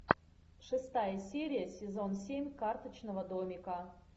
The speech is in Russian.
шестая серия сезон семь карточного домика